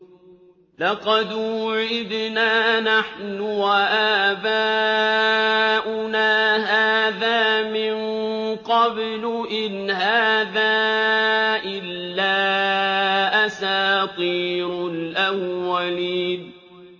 لَقَدْ وُعِدْنَا نَحْنُ وَآبَاؤُنَا هَٰذَا مِن قَبْلُ إِنْ هَٰذَا إِلَّا أَسَاطِيرُ الْأَوَّلِينَ